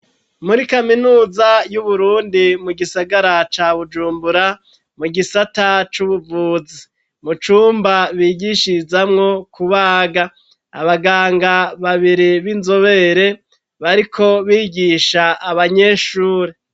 Muri kaminuza y'uburundi mu gisagara ca bujumbura mu gisata c'ubuvuzi mu cumba bigishirizamwo kubaga abaganga babiri b'inzobere bariko bigisha abanyeshuri.